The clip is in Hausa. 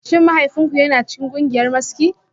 Shin mahaifinku yana cikin kungiyar maski?